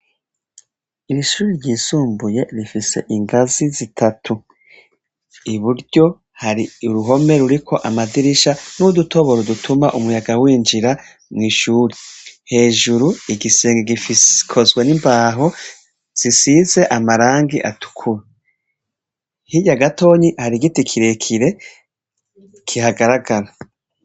irishuri ryisumbuye rifise ingazi zitatu iburyo hari uruhome ruriko amadirisha n'udutoboro dutuma umuyaga w'injira mu ishuri hejuru igisenge gifskozwe n'imbaho zisize amarangi atukura higyagatonyi hari giti kirekire gihagaragara